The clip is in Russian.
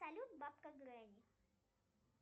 салют бабка гренни